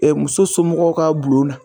muso somɔgɔw ka bulon na.